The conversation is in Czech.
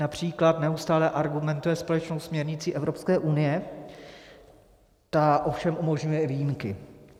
Například neustále argumentuje společnou směrnicí Evropské unie, ta ovšem umožňuje i výjimky.